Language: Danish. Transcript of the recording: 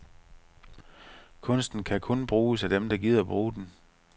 Kunst kan kun bruges af dem, der gider bruge den.